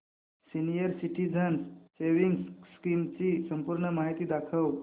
senior citizens savings scheme ची संपूर्ण माहिती दाखव